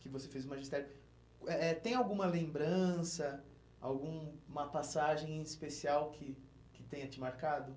que você fez o magistério, eh eh tem alguma lembrança, alguma passagem especial que que tenha te marcado?